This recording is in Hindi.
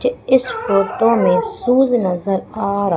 इस फोटो मे सूज नज़र आ रहा--